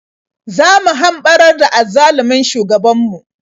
Zo mu hamɓarar da azzalumin shugabanmu.